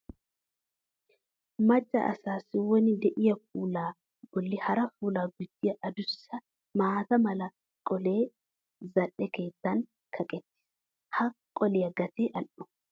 Macca asaassi woni de'iya puulaa bolli hara puulaa gujjiya adussa maata mala qolee zal"e keettan kaqettiis. Ha qoliya gatee al"o.